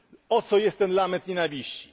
Po co jest ten lament nienawiści?